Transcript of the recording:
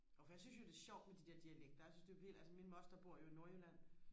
og for jeg synes jo det er sjovt med de der dialekter jeg synes det er vildt altså min moster bor jo i nordjylland